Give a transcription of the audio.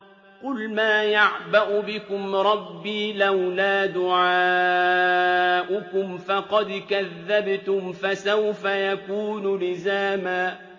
قُلْ مَا يَعْبَأُ بِكُمْ رَبِّي لَوْلَا دُعَاؤُكُمْ ۖ فَقَدْ كَذَّبْتُمْ فَسَوْفَ يَكُونُ لِزَامًا